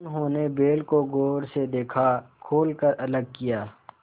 उन्होंने बैल को गौर से देखा खोल कर अलग किया